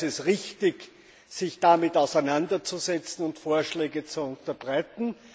Daher ist es richtig, sich damit auseinanderzusetzen und Vorschläge zu unterbreiten.